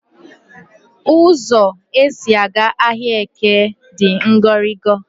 Ụzọ e si aga ahịaEke di ngoringo